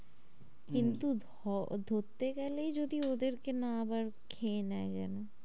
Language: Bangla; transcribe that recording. কিন্তু হম ধরতে গেলেই যদি ওদের কে না আবার খেয়ে নেই যেন,